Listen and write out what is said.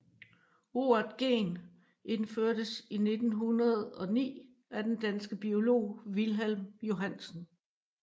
Ordet gen indførtes i 1909 af den danske biolog Wilhelm Johannsen